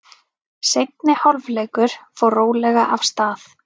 Seinni hálfleikur fór rólega af stað.